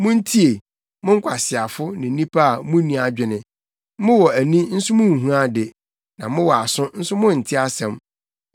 Muntie, mo nkwaseafo ne nnipa a munni adwene, mowɔ ani nso munhu ade, na mowɔ aso nso monte asɛm: